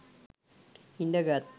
හිඳ ගත්තා.